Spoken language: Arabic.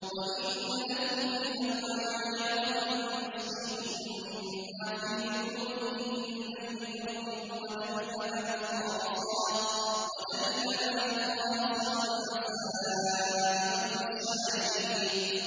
وَإِنَّ لَكُمْ فِي الْأَنْعَامِ لَعِبْرَةً ۖ نُّسْقِيكُم مِّمَّا فِي بُطُونِهِ مِن بَيْنِ فَرْثٍ وَدَمٍ لَّبَنًا خَالِصًا سَائِغًا لِّلشَّارِبِينَ